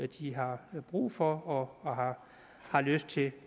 de har brug for og har har lyst til